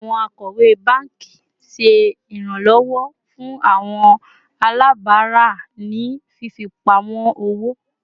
Awọn akọwe banki ṣe iranlọwọ fun awọn alabara ni fifipamọ owo